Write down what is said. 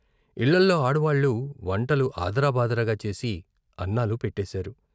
ఇళ్ళలో ఆడవాళ్ళు వంటలు ఆదరా బాదరాగా చేసి అన్నాలు పెట్టేశారు.